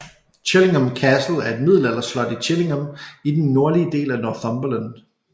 Chillingham Castle er et middelalderslot i Chillingham i den nordlige del af Northumberland